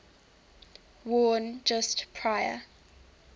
worn just prior